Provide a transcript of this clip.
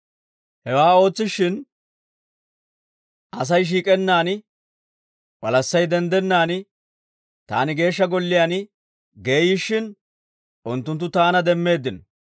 Hewaa ootsishshin, Asay shiik'ennaan, walassay denddennaan, taani Geeshsha Golliyaan geeyyishshin, unttunttu taana demmeeddino.